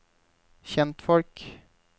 kjentfolk